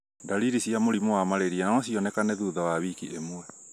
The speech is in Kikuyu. Ndariri cia mũrimũ wa malaria no cionekane thutha wa wiki ĩmwe.